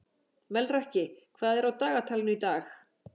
Melrakki, hvað er á dagatalinu í dag?